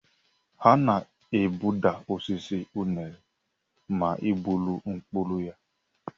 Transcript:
A na-egbuda osisi unere ma e gburu mkpụrụ ya.